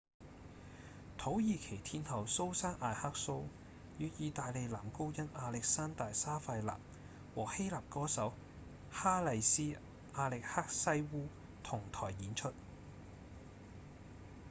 土耳其天后蘇珊‧雅克蘇與義大利男高音亞歷山大‧沙費納和希臘歌手哈麗絲‧亞力克西烏同臺演出